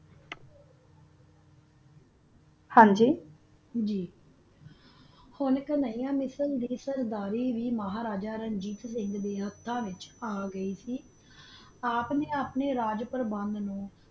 ਹਨ ਗ ਗ ਹੁਣ ਹੁਣ ਅਨਾ ਨਾ ਕਾਨਿਆਮਿਸੇਰ ਦੀ ਸਰ੍ਦੇਰੀ ਮਹਾਰਾਜਾ ਸਿੰਘ ਦਾ ਹਟਾ ਵਿਤਚ ਆ ਗੀ ਸੀ ਆਪ ਨਾ ਆਪਣੀ ਰਾਜ੍ਪਾਰ੍ਬਾਨੱਡ ਨੂ